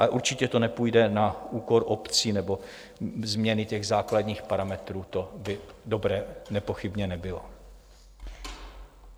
Ale určitě to nepůjde na úkor obcí nebo změny těch základních parametrů, to by dobré nepochybně nebylo.